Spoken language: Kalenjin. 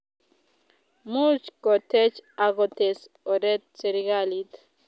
much kotech ago tes oret serikalit